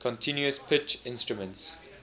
continuous pitch instruments